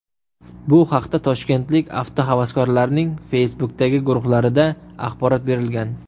Bu haqda toshkentlik avtohavaskorlarning Facebook’dagi guruhlarida axborot berilgan .